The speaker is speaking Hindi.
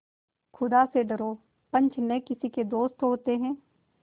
खुदा से डरो पंच न किसी के दोस्त होते हैं